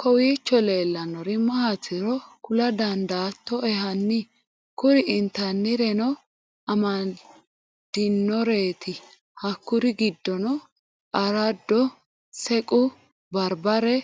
kowiicho leellannori maatiro kula dandaattoe hanni? kuri intannireno amadinoreti hakkuri giddonni araddo sequ barabare